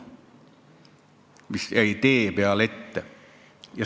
Too puu jäi tee peale ette.